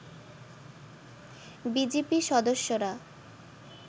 BGB সদস্যরা